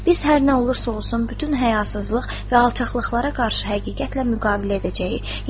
Biz hər nə olursa olsun, bütün həyasızlıq və alçaqlıqlara qarşı həqiqətlə müqavimət edəcəyik.